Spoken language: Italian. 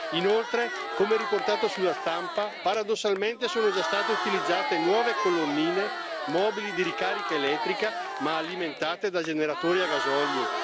Inoltre, come riportato sulla stampa, paradossalmente, sono già state utilizzate nuove colonnine mobili di ricarica elettrica ma alimentate da generatori a gasolio.